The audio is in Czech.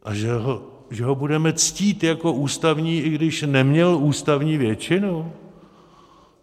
A že ho budeme ctít jako ústavní, i když neměl ústavní většinu?